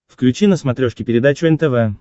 включи на смотрешке передачу нтв